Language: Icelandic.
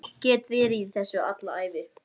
Ég var óþekkjanlegur daginn efir árásina.